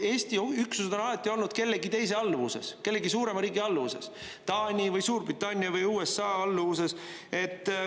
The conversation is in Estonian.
Eesti üksused on alati olnud kellegi teise alluvuses, kellegi suurema riigi alluvuses: Taani või Suurbritannia või USA alluvuses.